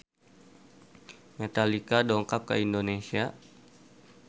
Metallica dongkap ka Indonesia